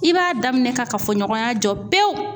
I b'a daminɛ ka kafoɲɔgɔnya jɔ pewu